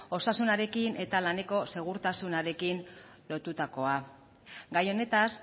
osasunarekin eta laneko segurtasunarekin lotutakoa gai honetaz